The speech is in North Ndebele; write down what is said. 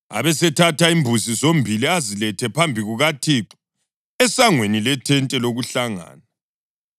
Abesethatha imbuzi zombili azilethe phambi kukaThixo, esangweni lethente lokuhlangana.